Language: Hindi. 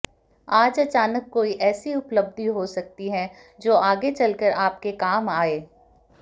आज अचानक कोई ऐसी उपलब्धि हो सकती है जो आगे चलकर आपके काम आए